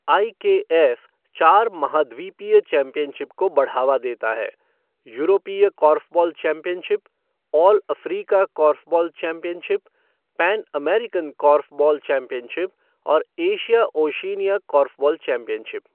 IKF चार महाद्वीपीय championship को बढ़ावा देता है यूरोपीय korfball championship, all Africa korfball championship, pan American korfball championship और एशिया ओशिनिया कॉर्फ़बॉल चैम्पियनशिप।